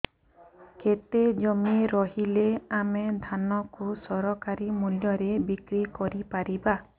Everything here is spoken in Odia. କେତେ ଜମି ରହିଲେ ଆମେ ଧାନ କୁ ସରକାରୀ ମୂଲ୍ଯରେ ବିକ୍ରି କରିପାରିବା